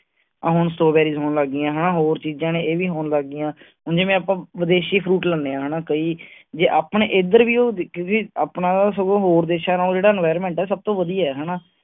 ਹੁਣ strawberries ਹੋਣ ਲੱਗ ਗਈਆਂ। ਹੋਰ ਚੀਜਾਂ ਨੇ ਏਹ ਵੀ ਹੋਣ ਲੱਗ ਗਈਆਂ। ਹੁਣ ਜਿਵੇਂ ਆਪਾਂ ਵਿਦੇਸ਼ੀ fruit ਲੈਣੇ ਆ ਹਣਾ ਕਈ ਜੇ ਆਪਣੇ ਇਧਰ ਵੀ ਉਹ ਵਿੱਕਗੇ ਆਪਣਾ ਸਗੋਂ ਹੋਰ ਦੇਸ਼ਾਂ ਨਾਲੋਂ ਜਿਹੜਾ environment ਹੈ ਸਬ ਤੋਂ ਵਧੀਆ ਹੈ